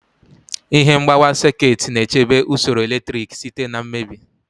Ihe mgbawa sekit na-echebe usoro eletrik site na mmebi.